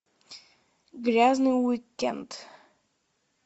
грязный уик энд